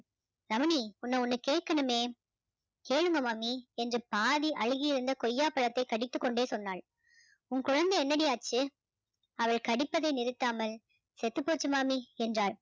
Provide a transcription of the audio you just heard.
ரமணி உன்னை ஒண்ணு கேக்கணுமே கேளுங்க மாமி என்று பாதி அழுகியிருந்த கொய்யாப்பழத்தை கடித்துக்கொண்டே சொன்னாள் உன் குழந்தை என்னடி ஆச்சு அவள் கடித்ததை நிறுத்தாமல் செத்துப்போச்சு மாமி என்றாள்